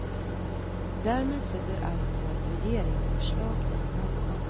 Därmed tyder allt på ett regeringsförslag i morgon.